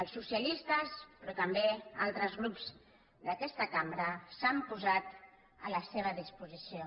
els socialistes però també altres grups d’aquesta cambra s’han posat a la seva disposició